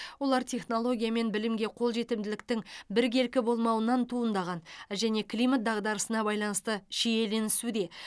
олар технология мен білімге қол жетімділіктің біркелкі болмауынан туындаған және климат дағдарысына байланысты шиеленісуде